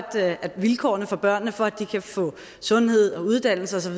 at vilkårene for børnene for at de kan få sundhed og uddannelse